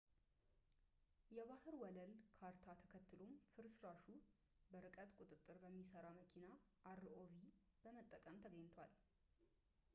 የባህር ወለል ካርታ ተከትሎም ፍርስራሹ በርቀት ቁጥጥር በሚሰራ መኪና rov በመጠቀም ተገኝቷል